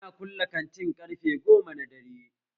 Ana kulle kantin ƙarfe goma na dare